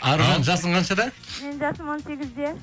аружан жасың қаншада менің жасым он сегізде